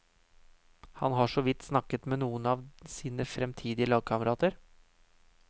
Han har såvidt snakket med noen av sine fremtidige lagkamerater.